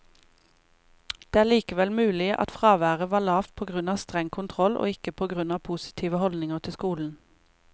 Det er likevel mulig at fraværet var lavt på grunn av streng kontroll, og ikke på grunn av positive holdninger til skolen.